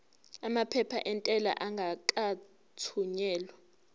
amaphepha entela engakathunyelwa